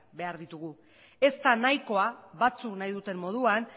behar ditugu ez da nahikoa batzuk nahi duten moduan